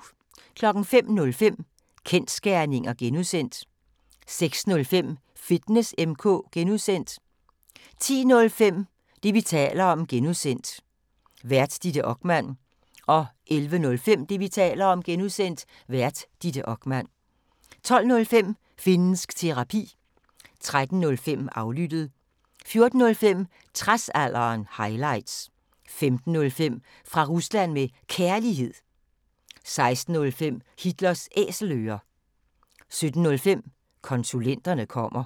05:05: Kensgerninger (G) 06:05: Fitness M/K (G) 10:05: Det, vi taler om (G) Vært: Ditte Okman 11:05: Det, vi taler om (G) Vært: Ditte Okman 12:05: Finnsk Terapi 13:05: Aflyttet 14:05: Tradsalderen – highlights 15:05: Fra Rusland med Kærlighed 16:05: Hitlers Æselører 17:05: Konsulenterne kommer